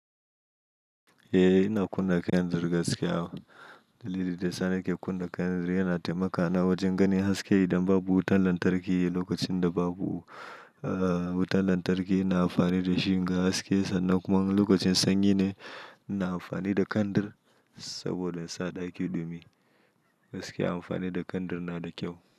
Eh ina kunna kandir gaskiya. Dalili da yasa nake kunna kandir yana taimakana wajen ganin haske idan babu wutan lantarki. Lokacin da babu wutan lantarki ina amfani da shi na ga haske sannan kuma lokacin sanyi ne ina amfani da kandir saboda sa ɗaki ɗumi. Gaskiya amfani da kandir na da kyau.